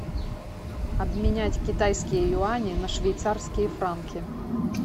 обменять китайские юани на швейцарские франки